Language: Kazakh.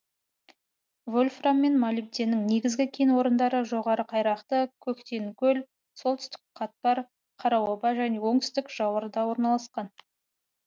вольфрам мен молибденнің негізгі кен орындары жоғары қайрақты көктенкөл солтүстік қатпар қараоба және оңтүстік жауырда орналасқан